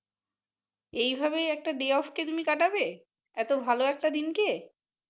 এইভাবে একটা day আসে তুমি কাটাবে, এতো ভালো একটা দিনকে।